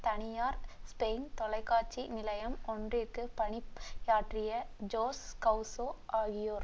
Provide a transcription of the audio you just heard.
தனியார் ஸ்பெயின் தொலைக்காட்சி நிலையம் ஒன்றிற்கு பணியாற்றிய ஜோஸ் கவ்சோ ஆகியோர்